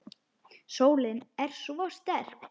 Sólin er svo sterk.